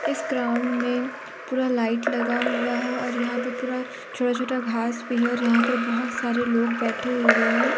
इस ग्राउंड में पूरा लाइट लगा हुआ है और यहां पे पूरा छोटा छोटा घास भी है और यहां पर बहोत सारे लोग बैठे हुए हैं।